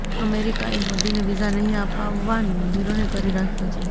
અમેરિકાએ મોદીને વિઝા નહિં આપવનો નિર્ણય કરી રાખ્યો છે